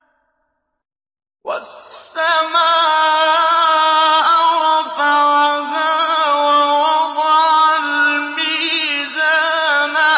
وَالسَّمَاءَ رَفَعَهَا وَوَضَعَ الْمِيزَانَ